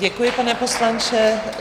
Děkuji, pane poslanče.